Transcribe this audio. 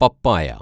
പപ്പായ